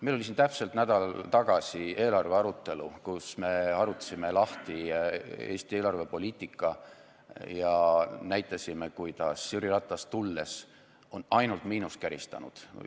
Meil oli siin täpselt nädal tagasi eelarve arutelu, kus me arutasime lahti Eesti eelarvepoliitika ja näitasime, kuidas Jüri Ratase tulles on ainult miinust käristatud.